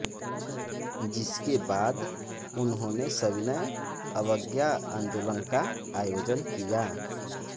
जिसके बाद उन्होंने सविनय अवज्ञा आंदोलन का आयोजन किया